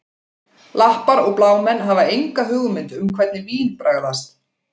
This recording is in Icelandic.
Lappar og blámenn hafa enga hugmynd um hvernig vín bragðast